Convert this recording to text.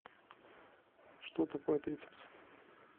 что такое трицепс